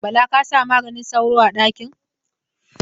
Bala ka sa maganin sauro a ɗakin?